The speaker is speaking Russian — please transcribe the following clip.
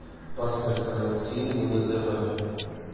поставь канал синема на тв